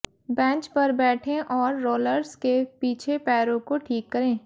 bench पर बैठें और रोलर्स के पीछे पैरों को ठीक करें